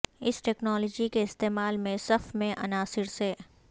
اس technology کے استعمال میں صف میں عناصر سے